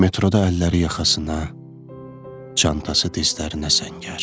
Metroda əlləri yaxasına, çantası dizlərinə səngər.